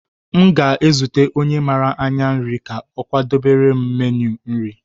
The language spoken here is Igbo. M ga-ezute onye mara anya nri ka ọ kwadebere m meenu nri.